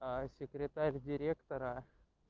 секретарь директора